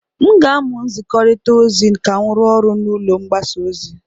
M ga-amụ nzikọrịta ozi ka m rụọ ọrụ n'ụlọ mgbasa ozi.